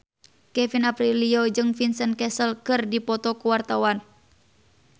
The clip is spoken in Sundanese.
Kevin Aprilio jeung Vincent Cassel keur dipoto ku wartawan